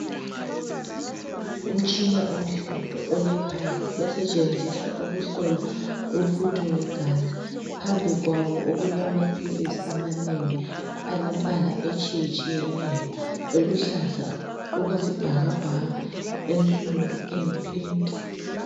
Umtshina omhlophe olepipe,.osetshenziswa ukuhlola umfutho wegazi. Phambi kwawo , okulamaphilisi amanengi, alemibala etshiyetshiyeneyo, . aluhlaza okwesibhakabhaka, ensundu, ayipink.